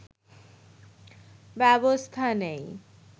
ব্যবস্থা নেয়